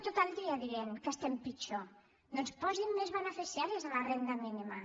tot el dia que diuen que estem pitjor doncs posin més beneficiaris a la renda mínima